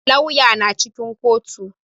Lauyan na cikin kotu.